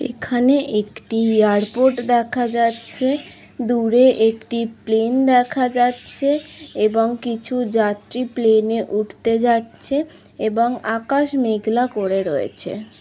এখানে একটি এয়ারপোর্ট দেখা যাচ্ছে দূরে একটি প্লেন দেখা যাচ্ছে এবং কিছু যাত্রী প্লেনে উঠতে যাচ্ছে এবং আকাশ মেঘলা করে রয়েছে।